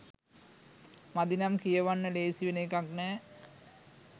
මදිනම් කියවන්න ලේසි වෙන එකක් නෑ.